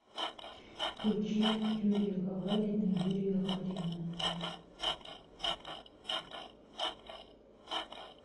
включи юрия гагарина юрия гарина